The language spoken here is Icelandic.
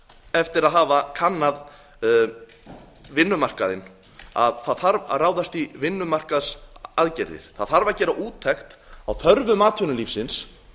eftir að hafa kannað vinnumarkaðinn að það þarf að ráðast í vinnumarkaðsaðgerðir það þarf að gera úttekt á þörfum atvinnulífsins